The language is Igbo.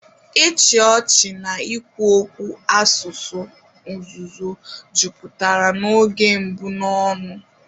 Ịchị ọchị na ikwu okwu, asụsụ nzuzo, jupụtara n'oge mbụ n'ọṅụ.